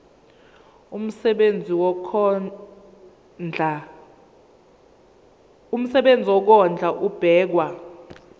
umsebenzi wokondla ubekwa